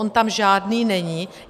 On tam žádný není.